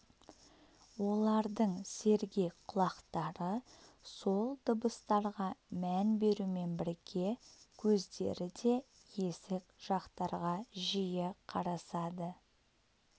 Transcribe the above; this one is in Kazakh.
олардың сергек құлақтары сол дыбыстарға мән берумен бірге көздері де есік жақтарға жиі қарасады